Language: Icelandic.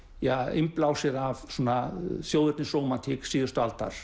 innblásið af þjóðernisrómantík síðustu aldar